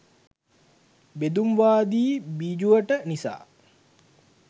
බෙදුම්වාදී බිජුවට නිසා